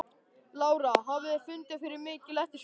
Lára: Hafið þið fundið fyrir mikilli eftirspurn?